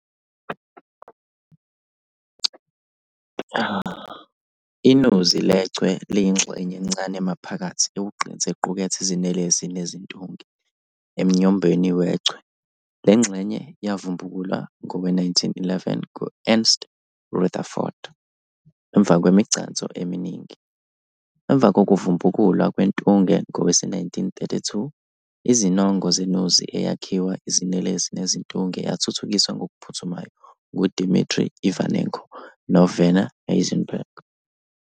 INuzi lechwe liyingxenye encane emaphakathi ewugqinsi equkethe izinelesi nezintunge emnyombweni wechwe, lengxenye yavubukulwa ngowe-1911 ngu-Ernst Rutherford emva kwemigcanso eminingi. Emva kokuvubukulwa kwentunge ngowe-1932, izinongo zenuzi eyakhiwa izinelesi nezintunge zathuthukiswa ngokuphuthumayo ngu-Dimitri Ivanenko no-Werner Heisenberg.